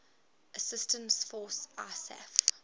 assistance force isaf